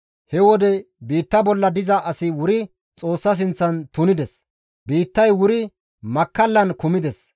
He wode biitta bolla diza asi wuri Xoossa sinththan tunides; biittay wuri makkallan kumides.